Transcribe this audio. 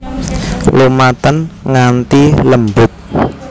Lumaten nganti lembut